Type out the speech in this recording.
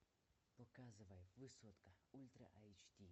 показывай высотка ультра айч ди